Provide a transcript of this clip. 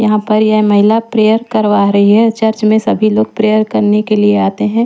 यहां पर यह महिला प्रेयर करवा रही है चर्च में सभी लोग प्रेयर करने के लिए आते हैं।